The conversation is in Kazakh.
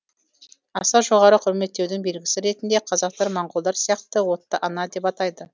аса жоғары құрметтеудің белгісі ретінде қазақтар моңғолдар сияқты отты ана деп атайды